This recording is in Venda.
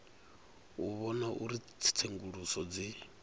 u vhona uri tsenguluso dzi